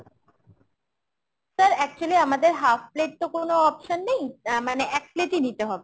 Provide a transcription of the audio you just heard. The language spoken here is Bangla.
sir actually আমাদের half plate তো কোনো option নেই মানে এক plate ই নিতে হবে।